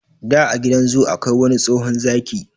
Da a gidan zu akwai wani tsohon zaki,